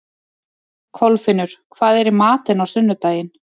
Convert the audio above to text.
Kolfinnur, hvað er í matinn á sunnudaginn?